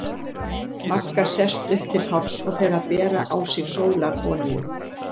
Magga sest upp til hálfs og fer að bera á sig sólarolíu.